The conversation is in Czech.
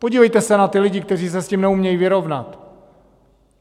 Podívejte se na ty lidi, kteří se s tím neumějí vyrovnat!